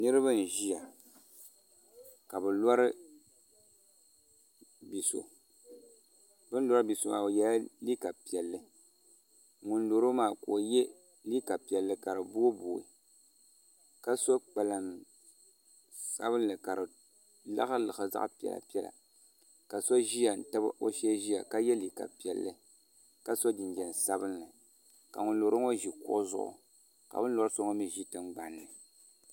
Niraba nʒiya ka bi lori bia so bi ni lori bia so maa o yɛla liiga piɛlli ŋun loro maa ka o yɛ liiga piɛlli ka di booi booi ka so kpalaŋ sabinli ka di liɣisi liɣisi zaɣ piɛla piɛla ka so ʒiya n tabi o shee ʒiya ka yɛ liiga piɛlli ka so jinjɛm sabinli ka ŋun loro ŋo ʒi kuɣu zuɣu ka bin lori so ŋo mii ʒi tingbanni